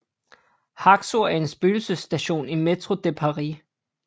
Haxo er en spøgelsesstation i Métro de Paris